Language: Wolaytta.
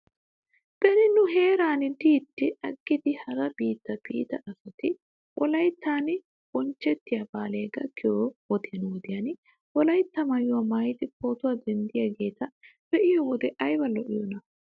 Beni nu heeran de'iiddi aggidi hara biitta biida asati wolayttan bonchchettiyaa baalay gakkiyoo wodiyan wodiyan wolaytta maayuwaa maayidi pootuwaa denddiyaageeta be'iyoo wode ayba lo'iyoonaa